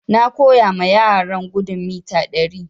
Na koya ma yaran gudun mita ɗari